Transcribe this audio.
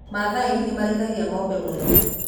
Maathai nĩmarĩithagia ng'ombe mũno